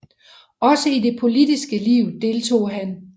Også i det politiske liv deltog han